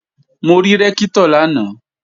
Mo rí Rẹ́ktọ̀ lánàá